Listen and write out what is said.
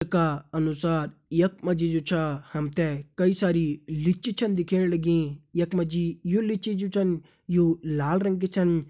का अनुसार यख मा जी जु छा हम ते कई सारी लिच्चि छन दिखेण लगीं यख मा जी यु लिच्चि जु छन यु लाल रंग की छन।